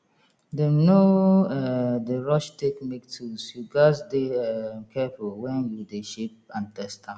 dem no um dey rush take make tools you gatz dey um careful wen you de shape and test am